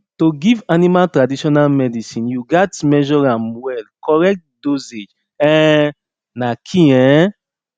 to give animal traditional medicine you gats measure am well correct dosage um na key um